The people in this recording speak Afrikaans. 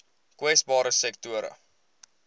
kwesbare sektore